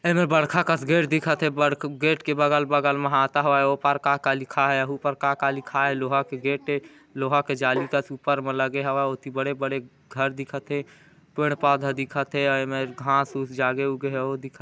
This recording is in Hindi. ऐमे बड़का कस गेट दिखत हे गेट के बगल-बगल म हाता हवा है ओ पार का का लिखा हे एहू पार का का लिखा हे लोहा के गेट ए लोहा के जाली कस ऊपर म लगे हवे ओती बड़े-बड़े घर दिखत हे पेड़-पौधा दिखत हे अउ ऐमेर घांस-ऊस जगे-उगे हे उ दिखत--